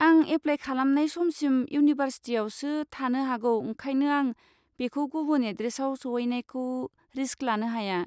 आं एप्लाय खालामनाय समसिम इउनिभारसिटियावसो थानो हागौ ओंखायनो आं बेखौ गुबुन एड्रेसआव सहैनायखौ रिस्क लानो हाया।